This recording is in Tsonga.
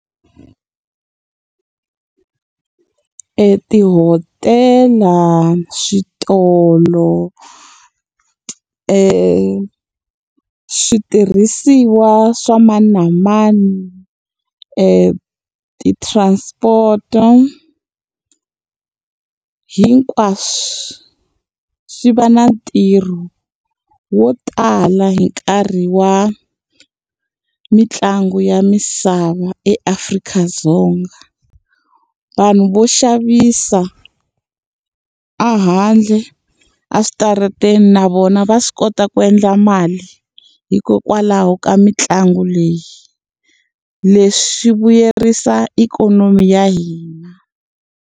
Tihotela, switolo, switirhisiwa swa mani na mani, ti-transport-a, hinkwaswo swi va na ntirho wo tala hi nkarhi wa mitlangu ya misava eAfrika-Dzonga. Vanhu vo xavisa a handle eswitarateni na vona va swi kota ku endla mali, hikokwalaho ka mitlangu leyi. Leswi swi vuyerisa ikhonomi ya hina.